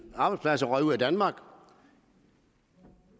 arbejdspladser røg ud af danmark